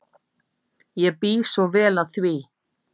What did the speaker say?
Ég bý svo vel að því.